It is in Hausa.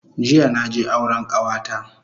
Jiya naje auren kawata